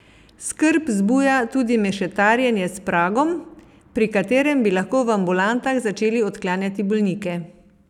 Skrb zbuja tudi mešetarjenje s pragom, pri katerem bi lahko v ambulantah začeli odklanjati bolnike.